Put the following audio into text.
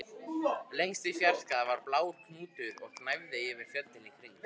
Lengst í fjarska var blár hnúkur og gnæfði yfir fjöllin í kring